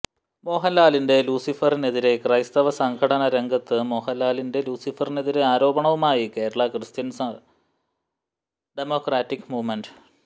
മോഹന്ലാലിന്റെ ലൂസിഫറിനെതിരെ ക്രൈസ്തവ സംഘടന രംഗത്ത് മോഹന്ലാലിന്റെ ലൂസിഫറിനെതിരെ ആരോപണവുമായി കേരള ക്രിസ്ത്യന് ഡമോക്രാറ്റിക്ക് മൂവ്മെന്റ്